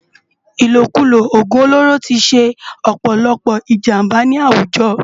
Ilókúló ógún ólóró ti sé òpòlòpò ijàmbá ni áwújò